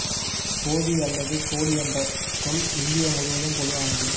கோதி அல்லது கோடி என்ற சொல் இந்தியா முழுவதும் பொதுவானது